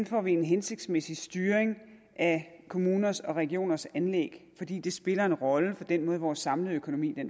får en hensigtsmæssig styring af kommuners og regioners anlæg fordi det spiller en rolle for den måde vores samlede økonomi